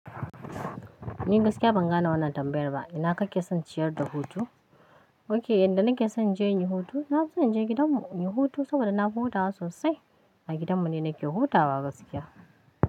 Ni gaskiya ban gane wannan tambayar ba. Ina kake son ciyar da hutu? Ok, inda nake son inje inyi hutu, na fi son inje gidan mu inyi hutu saboda na fi hutawa sosai. A gidan mu ne nake hutawa gaskiya.